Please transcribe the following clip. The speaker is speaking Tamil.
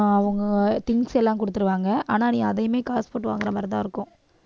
அவங்க things எல்லாம் குடுத்துருவாங்க ஆனா நீ அதையுமே காசு போட்டு வாங்குற மாதிரிதான் இருக்கும்